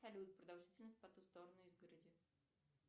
салют продолжительность по ту сторону изгороди